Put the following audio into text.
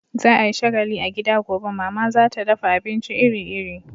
Za a yi shagalli a gida gobe, Mama za ta dafa abinci iri-iri.